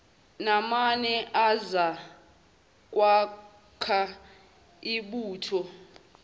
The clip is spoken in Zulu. namane azokwakha ibutho